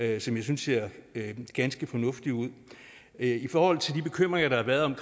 jeg synes ser ganske fornuftig ud i forhold til de bekymringer der har været